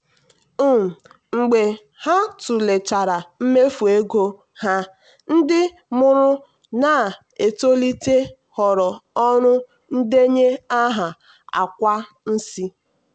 um mgbe ha tụlechara mmefu ego ha ndị mụrụ na-etolite họọrọ ọrụ ndenye aha akwa nsị.